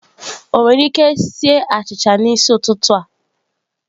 Ọ nwere ike sie achịcha a n'isi ụtụtụ a?